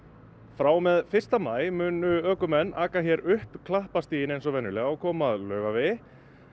frá og með fyrsta maí munu ökumenn aka hér upp Klapparstíg eins og venjulega og koma að Laugavegi